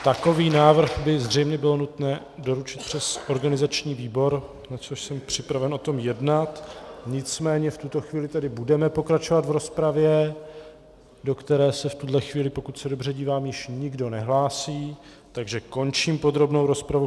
Takový návrh by zřejmě bylo nutné doručit přes organizační výbor, na což jsem připraven o tom jednat, nicméně v tuto chvíli tedy budeme pokračovat v rozpravě, do které se v tuhle chvíli, pokud se dobře dívám, již nikdo nehlásí, takže končím podrobnou rozpravu.